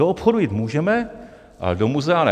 Do obchodu jít můžeme, ale do muzea ne.